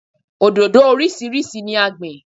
Òdòdó orísìírísìí ni a gbìn.